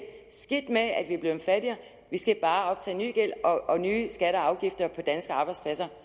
skidt med at vi er blevet fattigere vi skal bare optage ny gæld og nye skatter og afgifter på danske arbejdspladser